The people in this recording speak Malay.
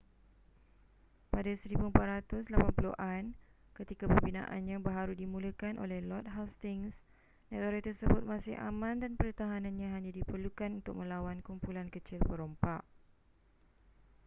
pada 1480-an ketika pembinaannya baharu dimulakan oleh lord hastings negara tersebut masih aman dan pertahanannya hanya diperlukan untuk melawan kumpulan kecil perompak